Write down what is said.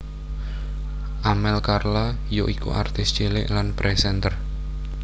Amel Carla yaiku artis cilik lan présènter